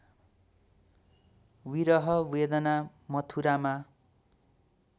विरह वेदना मथुरामा